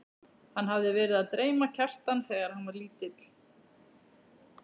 Hann hafði verið að dreyma Kjartan þegar hann var lítill.